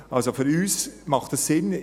Also für uns macht es Sinn.